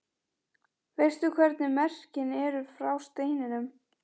Veistu hvernig merkin eru frá steininum?